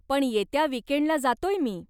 पण येत्या वीकेंडला जातोय मी.